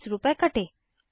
20 रूपए कटे